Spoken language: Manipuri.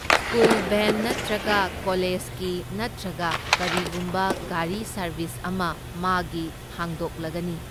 ꯁ꯭ꯀꯨꯜ ꯚꯦꯟ ꯅꯠꯇ꯭ꯔꯒ ꯀꯣꯂꯦꯁꯀꯤ ꯅꯠꯇ꯭ꯔꯒ ꯀꯔꯤꯒꯨꯝꯕ ꯒꯥꯔꯤ ꯁꯔꯚꯤꯁ ꯑꯃ ꯃꯥꯒꯤ ꯍꯥꯡꯗꯣꯛꯂꯒꯅꯤ꯫